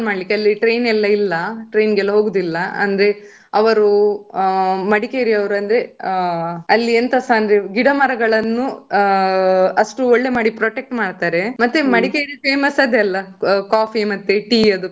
ಮಾಡ್ಲಿಕ್ಕೆ ಅಲ್ಲಿ train ಎಲ್ಲ ಇಲ್ಲ train ಗೆ ಎಲ್ಲಾ ಹೋಗುದಿಲ್ಲ ಅಂದ್ರೆ ಅವರು ಮಡಿಕೇರಿ ಅವ್ರು ಅಂದ್ರೆ ಅಲ್ಲಿ ಎಂತಸ ಅಂದ್ರೆ ಗಿಡ ಮರಗಳನ್ನು ಆ ಅಷ್ಟು ಒಳ್ಳೆ ಮಾಡಿ protect ಮಾಡ್ತಾರೆ. ಮತ್ತೆ ಮಡಿಕೇರಿ famous ಅದೇ ಅಲ್ಲ coffee ಮತ್ತೆ tea ಅದು.